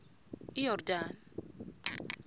iyordane